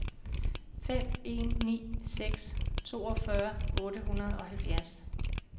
fem en ni seks toogfyrre otte hundrede og halvfjerds